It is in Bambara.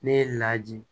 Ne ye laji